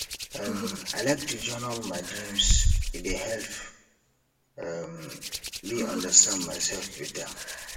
um i like to journal my dreams e dey help um me understand myself better